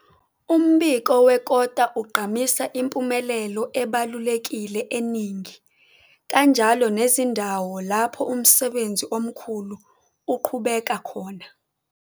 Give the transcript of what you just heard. Umbiko wekota ugqamisa impumelelo ebalulekile eningi, kanjalo nezindawo lapho umsebenzi omkhulu uqhubeka khona.